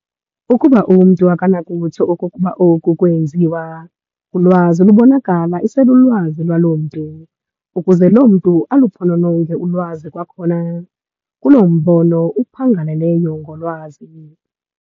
Ukuba umntu akanakutsho okokuba oku kweenziwa, ulwazi lubonakala iselulwazi lwaloo mntu, ukuze loo mntu aluphonononge ulwazi kwakhona, kuloo mbono uphangaleleyo ngolwazi.